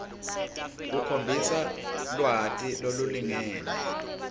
ukhombisa lwati lolulingene